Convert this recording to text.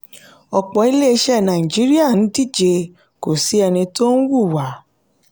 ọ̀pọ̀ ilé-iṣẹ́ nàìjíríà ń díje kò sí ẹni tó ń wùwà.